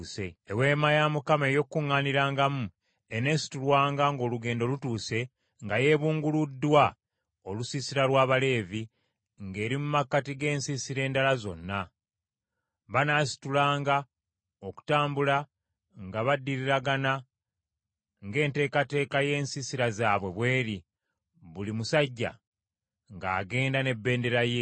Eweema ey’Okukuŋŋaanirangamu eneesitulwanga ng’olugendo lutuuse nga yeebunguluddwa olusiisira lw’Abaleevi, ng’eri mu makkati g’ensiisira endala zonna. Banaasitulanga okutambula nga baddiriragana ng’enteekateeka y’ensiisira zaabwe bw’eri, buli musajja ng’agenda n’ebendera ye.